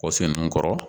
Wa fɛn ninnu kɔrɔ